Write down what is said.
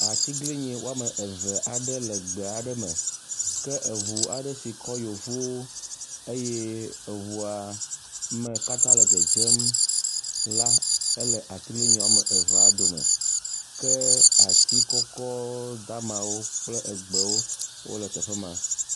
Atiglinyi wɔme eve aɖe le gbe aɖe me ke eŋu aɖe si kɔ yevuwo eye eŋua me katã le dzedzem la ele atiglinyi wɔme evea dome. Ke ti kɔkɔ damawo kpel egbewo wo le teƒe ma.